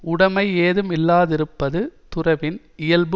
உடைமை ஏதும் இல்லாதிருப்பது துறவின் இயல்பு